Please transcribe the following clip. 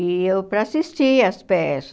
E eu para assistir às peças.